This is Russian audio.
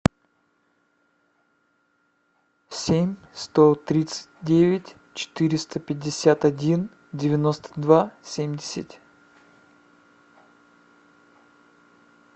семь сто тридцать девять четыреста пятьдесят один девяносто два семьдесят